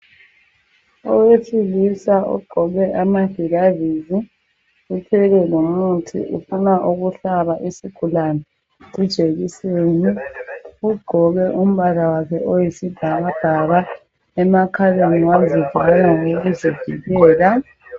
Owesilisa ogqoke amagilavisi uthwele lomuthi ufuna ukuhlaba isigulane ijekiseni. ugqoke umbala wakhe oyisibhakabhaka emakhaleni wazivala ngokokuzivikela